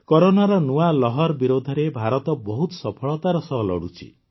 କରୋନାର ନୂଆ ଲହର ବିରୋଧରେ ଭାରତ ବହୁତ ସଫଳତାର ସହ ଲଢ଼ୁଛି